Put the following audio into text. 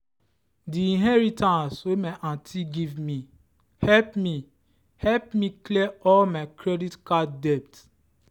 the inheritance wey my aunty give me help me help me clear all my credit card debt.